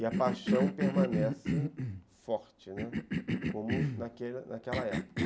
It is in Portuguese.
E a paixão permanece forte, ne, como como naquele naquela época.